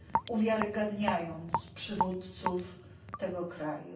uwiarygodniając przywódców tego kraju.